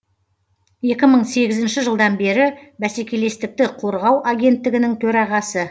екі мың сегізінші жылдан бері бәсекелестікті қорғау агенттігінің төрағасы